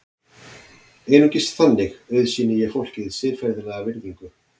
Einungis þannig auðsýni ég fólki siðferðilega virðingu.